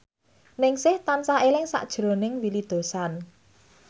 Ningsih tansah eling sakjroning Willy Dozan